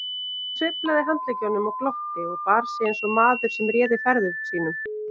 Hann sveiflaði handleggjunum og glotti og bar sig eins og maður sem réði ferðum sínum.